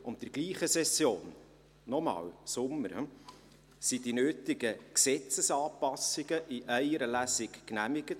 In derselben Session – noch einmal: im Sommer – wurden die nötigen Gesetzesanpassungen in einer Lesung genehmigt.